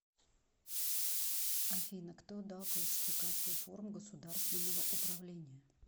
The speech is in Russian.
афина кто дал классификацию форм государственного управления